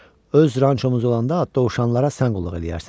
Öz rançomuz olanda dovşanlara sən qulluq eləyərsən.